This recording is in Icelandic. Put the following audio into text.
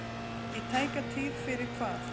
Í tæka tíð fyrir hvað?